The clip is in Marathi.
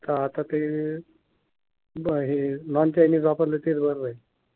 का आता ते ब हे नॉन चायनीज वापरल तेच बर राहील.